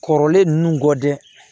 Kɔrɔlen ninnu gɔdɛ